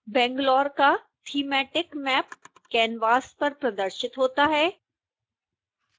bangalore का thematic map canvas पर प्रदर्शित होता है